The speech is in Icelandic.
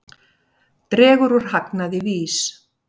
Dregur úr hagnaði VÍS